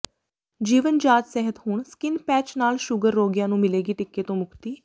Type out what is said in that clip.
ਜੀਵਨ ਜਾਚ ਸਿਹਤ ਹੁਣ ਸਕਿਨ ਪੈਚ ਨਾਲ ਸ਼ੂਗਰ ਰੋਗੀਆਂ ਨੂੰ ਮਿਲੇਗੀ ਟੀਕੇ ਤੋਂ ਮੁਕਤੀ